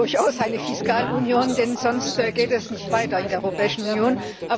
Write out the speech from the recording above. Wir brauchen durchaus eine Fiskalunion, denn sonst geht es nicht weiter in der Europäischen Union.